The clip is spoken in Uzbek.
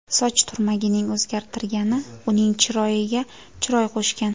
Soch turmagining o‘zgartirgani uning chiroyiga chiroy qo‘shgan.